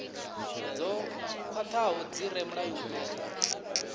dzo khwathaho dzi re mulayoni